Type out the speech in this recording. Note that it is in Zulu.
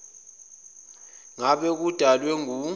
ngabe kudalwe ngu